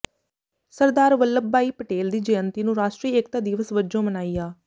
ਸਰਦਾਰ ਵੱਲਭ ਬਾਈ ਪਟੇਲ ਦੀ ਜੈਅੰਤੀ ਨੂੰ ਰਾਸ਼ਟਰੀ ਏਕਤਾ ਦਿਵਸ ਵਜੋਂ ਮਨਾਇਆ